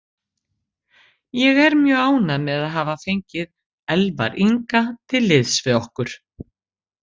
Ég er mjög ánægður með að hafa fengið Elvar Inga til liðs við okkur.